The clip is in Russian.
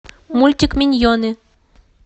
мультик миньоны